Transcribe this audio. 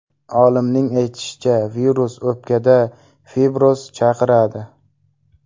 Olimning aytishicha, virus o‘pkada fibroz chaqiradi.